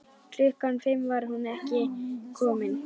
Klukkan fimm var hún enn ekki komin.